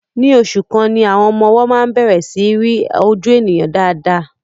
Ní oṣù kan ni àwọn ọmọ-ọwọ máa ń bẹ̀rẹ̀ sí í rí ojú ènìyàn dáadáa.